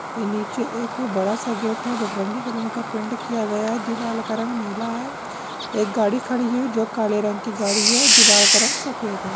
ये नीचे एक बड़ा सा गेट है बटरंगी कलर का पेंट किया गया है दीवाल का रंग नीला है। एक गाड़ी है जो काले रंग की गाड़ी है दीवाल का रंग सफेद है।